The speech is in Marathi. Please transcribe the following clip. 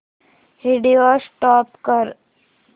व्हिडिओ स्टॉप कर